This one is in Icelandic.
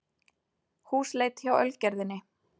Húsleit hjá Ölgerðinni